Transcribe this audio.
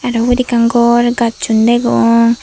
ebot ekkan gor gassun degong.